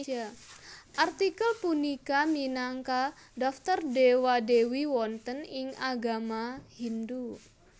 Artikel punika minangka daftar Dewa Dewi wonten ing agama Hindu